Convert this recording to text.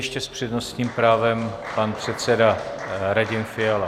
Ještě s přednostním právem pan předseda Radim Fiala.